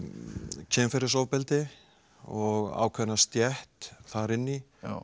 kynferðisofbeldi og ákveðna stétt þar inn í